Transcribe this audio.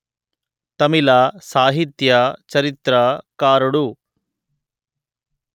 తమిళ సాహిత్య చరిత్ర కారుడు